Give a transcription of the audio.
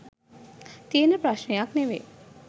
තියෙන ප්‍රශ්ණයක් නෙමෙයි.